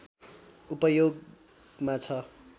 उपयोगमा छ